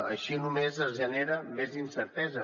així només es genera més incertesa